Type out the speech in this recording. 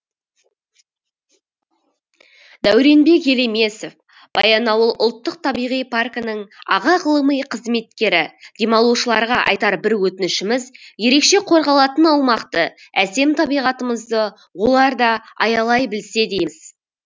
дәуренбек елемесов баянауыл ұлттық табиғи паркінің аға ғылыми қызметкері демалушыларға айтар бір өтінішіміз ерекше қорғалатын аумақты әсем табиғатымызды олар да аялай білсе дейміз